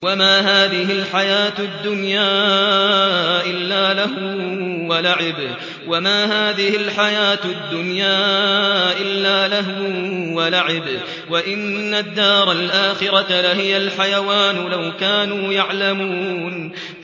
وَمَا هَٰذِهِ الْحَيَاةُ الدُّنْيَا إِلَّا لَهْوٌ وَلَعِبٌ ۚ وَإِنَّ الدَّارَ الْآخِرَةَ لَهِيَ الْحَيَوَانُ ۚ لَوْ كَانُوا يَعْلَمُونَ